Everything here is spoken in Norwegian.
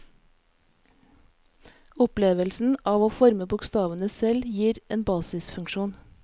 Opplevelsen av å forme bokstavene selv gir en basisfunksjon.